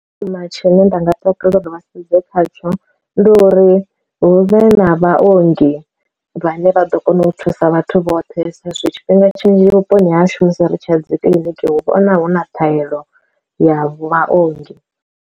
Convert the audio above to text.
Tsho thoma tshine nda nga takalela u vhasedze khatsho ndi uri hu vhe na vhaongi vhane vha ḓo kona u thusa vhathu vhoṱhe sa izwi tshifhinga tshinzhi vhuponi ha shumisi ri tshi ya dzi kiḽiniki hu vhona hu na ṱhahelelo ya vhaongi.